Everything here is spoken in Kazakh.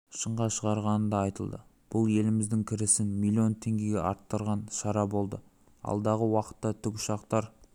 шыңға шығарғаны да айтылды бұл еліміздің кірісін миллион теңгеге арттырған шара болды алдағы уақытта тікұшақтар